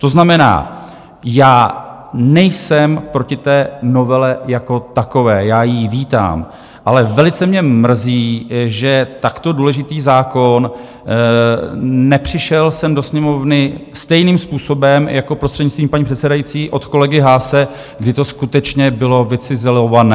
To znamená, já nejsem proti té novele jako takové, já ji vítám, ale velice mě mrzí, že takto důležitý zákon nepřišel sem do Sněmovny stejným způsobem jako, prostřednictvím paní předsedající, od kolegy Haase, kdy to skutečně bylo vycizelované.